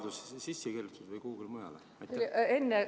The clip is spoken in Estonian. Kas see oli seadusesse kirjutatud või kuhugi mujale?